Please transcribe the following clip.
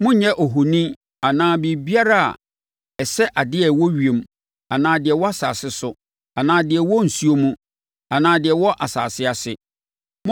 Monnyɛ ohoni anaa biribiara a ɛsɛ adeɛ a ɛwɔ ewiem, anaa deɛ ɛwɔ asase so, anaa deɛ ɛwɔ nsuo mu, anaa deɛ ɛwɔ asase ase.